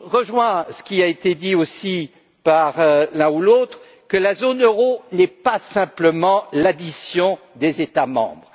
rejoins ce qui a été dit aussi par l'un ou l'autre, à savoir que la zone euro n'est pas simplement l'addition des États membres.